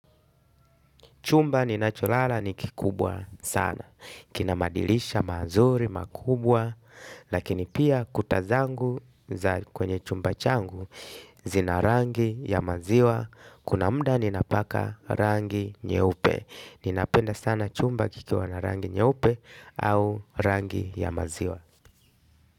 Chumba ninacholala ni kikubwa sana. Kina madirisha mazuri, makubwa, lakini pia kuta zangu kwenye chumba changu, zina rangi ya maziwa, kuna muda ninapaka rangi nyeupe. Ninapenda sana chumba kikiwa na rangi nyeupe au rangi ya maziwa.